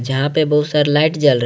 यहां पे बहुत सारा लाइट जल रहे--